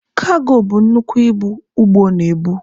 Kago bụ ibu nnukwu ụgbọ na-ebu.